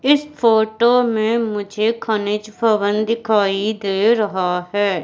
इस फोटो में मुझे खनिज भवन दिखाई दे रहा है।